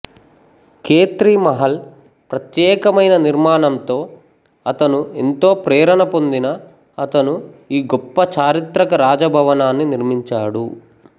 ఖేత్రి మహల్ ప్రత్యేకమైన నిర్మాణంతో అతను ఎంతో ప్రేరణ పొందిన అతను ఈ గొప్ప చారిత్రక రాజభవనాన్ని నిర్మించాడు